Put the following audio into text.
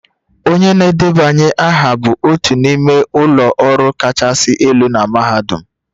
Onye na-edebanye aha bụ otu n'ime ụlọ ọrụ kachasị elu na mahadum